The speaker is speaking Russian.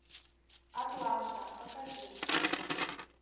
атланта покажи